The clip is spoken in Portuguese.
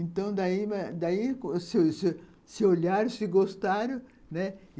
Então, daí se olharam, se gostaram, né?